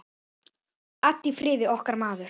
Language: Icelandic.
Addi í Firði, okkar maður.